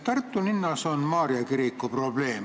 Tartu linnas on Maarja kiriku probleem.